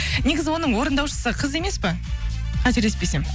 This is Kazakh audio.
негізі оның орындаушысы қыз емес па қателеспесем